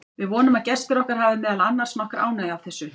Við vonum að gestir okkar hafi meðal annars nokkra ánægju af þessu.